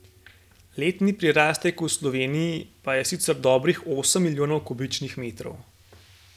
Letni prirastek v Sloveniji pa je sicer dobrih osem milijonov kubičnih metrov.